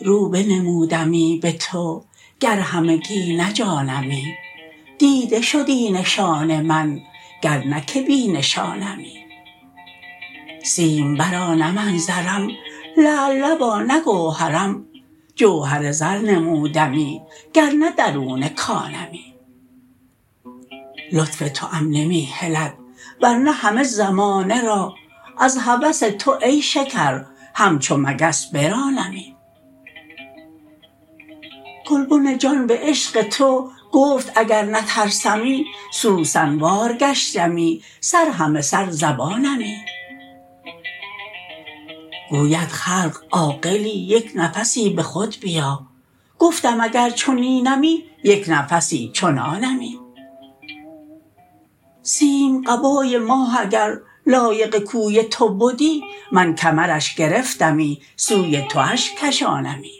رو بنمودی به تو گر همگی نه جانمی دیده شدی نشان من گر نه که بی نشانمی سیمبرا نه من زرم لعل لبا نه گوهرم جوهر زر نمودمی گر نه درون کانمی لطف توام نمی هلد ور نه همه زمانه را از هوس تو ای شکر همچو مگس برانمی گلبن جان به عشق تو گفت اگر نترسمی سوسن وار گشتمی سر همه سر زبانمی گوید خلق عاقلی یک نفسی به خود بیا گفتم اگر چنینمی یک نفسی چنانمی سیم قبای ماه اگر لایق کوی تو بدی من کمرش گرفتمی سوی تواش کشانمی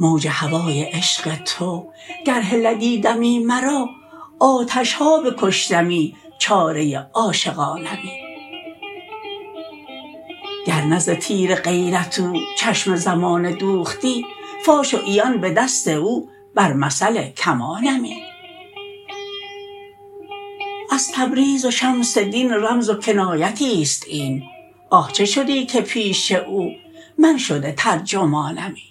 موج هوای عشق تو گر هلدی دمی مرا آتش ها بکشتمی چاره عاشقانمی گر نه ز تیر غیرت او چشم زمانه دوختی فاش و عیان به دست او بر مثل کمانمی از تبریز و شمس دین رمز و کنایت است این آه چه شدی که پیش او من شده ترجمانمی